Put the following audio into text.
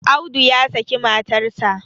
Audu ya saki matarsa.